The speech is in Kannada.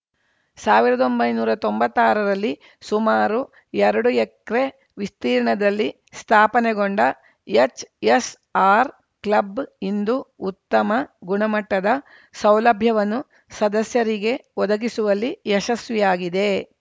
ಸಾವಿರದ ಒಂಬೈನೂರ ತೊಂಬತ್ತಾರರಲ್ಲಿ ಸುಮಾರು ಎರಡು ಎಕ್ರೆ ವಿಸ್ತೀರ್ಣದಲ್ಲಿ ಸ್ಥಾಪನೆಗೊಂಡ ಎಚ್‌ಎಸ್‌ಆರ್‌ಕ್ಲಬ್‌ ಇಂದು ಉತ್ತಮ ಗುಣಮಟ್ಟದ ಸೌಲಭ್ಯವನ್ನು ಸದಸ್ಯರಿಗೆ ಒದಗಿಸುವಲ್ಲಿ ಯಶಸ್ವಿಯಾಗಿದೆ